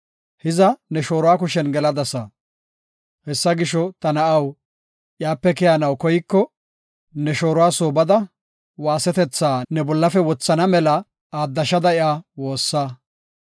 hiza ne shooruwa kushen geladasa. Hessa gisho, ta na7aw, iyape keyanaw koyko, ne shooruwa soo bada waasetetha ne bollafe wothana mela aaddashada iya woossa.